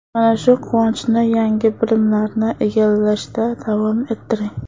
Mana shu quvonchni yangi bilimlarni egallashda davom ettiring.